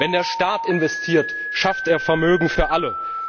Wenn der Staat investiert, schafft er Vermögen für alle.